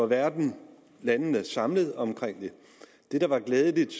verden landene samlet om det det der var glædeligt